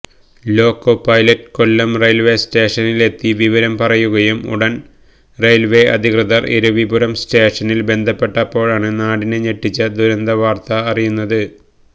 loco pilot Kollam റെയില്വേസ്റ്റേഷനിലെത്തി വിവരം പറയുകയും ഉടന് റെയില്വേ അധികൃതര് ഇരവിപുരം സ്റ്റേഷനില് ബന്ധപ്പെട്ടപ്പോഴാണ് നാടിനെ ഞെട്ടിച്ച ദുരന്തവാര്ത്ത അറിയുന്നത്